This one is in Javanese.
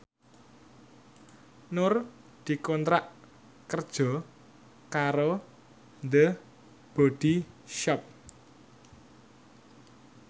Nur dikontrak kerja karo The Body Shop